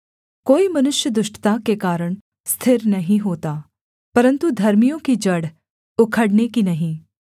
कोई मनुष्य दुष्टता के कारण स्थिर नहीं होता परन्तु धर्मियों की जड़ उखड़ने की नहीं